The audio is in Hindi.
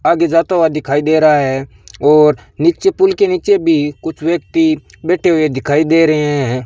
आगे जाता हुआ दिखाई दे रहा है और नीचे पुल के नीचे भी कुछ व्यक्ति बैठे हुए दिखाई दे रहे हैं।